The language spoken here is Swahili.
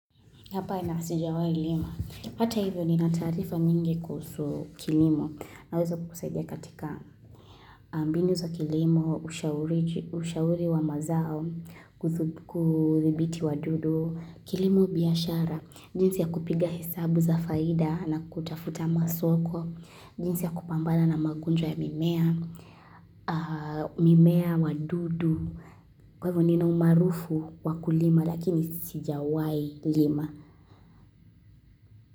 Hapana sijawai lima. Hata hivyo ni natarifa nyingi kusu kilimo naweza kukusaidia katika mbinu za kilimo, ushauri wa mazao, kuthibiti wa dudu, kilimo biashara, jinsi ya kupiga hesabu za faida na kutafuta masoko, jinsi ya kupambala na magonjwa ya mimea, mimea wa dudu, kwa hivyo nina umaarufu wa kulima lakini sijawai lima.